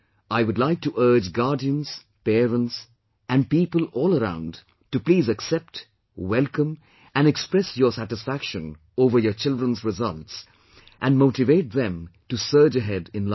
I would like to urge guardians, parents and people all around, to please accept, welcome and express your satisfaction over your children's results, and motivate them to surge ahead in life